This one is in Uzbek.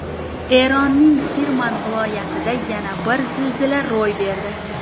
Eronning Kirmon viloyatida yana bir zilzila ro‘y berdi.